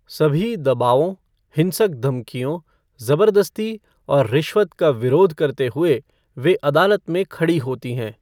सभी दबावों, हिंसक धमकियों, ज़बरदस्ती और रिश्वत का विरोध करते हुए, वे अदालत में खड़ी होती हैं।